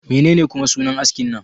Menene kuma sunan askin nan?